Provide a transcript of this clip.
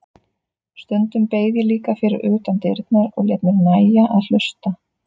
Stundum beið ég líka fyrir utan dyrnar og lét mér nægja að hlusta.